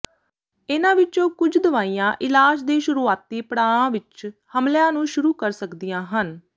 ਇਹਨਾਂ ਵਿੱਚੋਂ ਕੁਝ ਦਵਾਈਆਂ ਇਲਾਜ ਦੇ ਸ਼ੁਰੂਆਤੀ ਪੜਾਆਂ ਵਿਚ ਹਮਲਿਆਂ ਨੂੰ ਸ਼ੁਰੂ ਕਰ ਸਕਦੀਆਂ ਹਨ